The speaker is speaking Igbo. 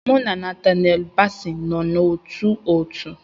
Mụ na Natanelu bási nọ n'ótú òtù